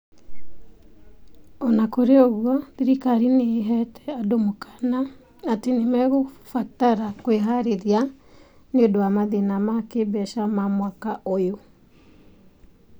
O na kũrĩ ũguo, thirikari nĩ ĩheete andũ mũkaana atĩ nĩ mekũbatara kwĩharĩria nĩ ũndũ wa mathĩna ma kĩĩmbeca ma mwaka ũyũ.